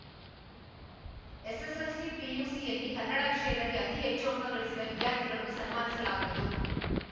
SSLC ಪಿಯುಸಿಯಲ್ಲಿ ಕನ್ನಡ ವಿಷಯದಲ್ಲಿ ಅತೀ ಹೆಚ್ಚು ಅಂಕಗಳಿಸಿದ ವಿದ್ಯಾರ್ಥಿಗಳನ್ನು ಸನ್ಮಾನಿಸಲಾಗುವುದು